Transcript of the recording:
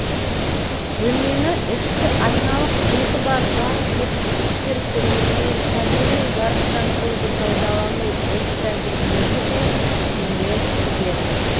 бөлмені ішкі айналық беті бар жарық жеткізгіштер көмегімен табиғи жарықтандыруды пайдалану іс-тәжірибесі де кеңейе түсуде